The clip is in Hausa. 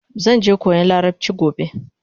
Zanje koyan larabchi gobe